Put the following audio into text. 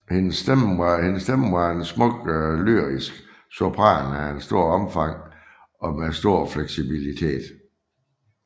Hendes stemme var en smuk lyrisk sopran af stort omfang og med stor fleksibilitet